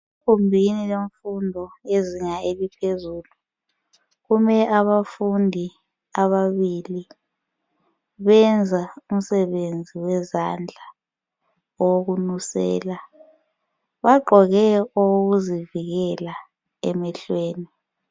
Egumbini lemfundo yezinga eliphezulu kume abafundi ababili benza umsebenzi wezandla owokunusela bagqoke okokuzivikela emehlweni.